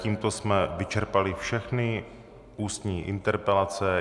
Tímto jsme vyčerpali všechny ústní interpelace.